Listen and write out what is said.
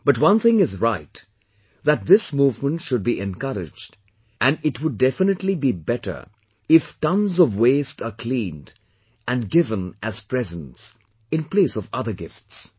But, one thing is right that this movement should be encouraged and it would definitely be better if cleaning tonnes of waste are cleaned and and given as presents in place of other gifts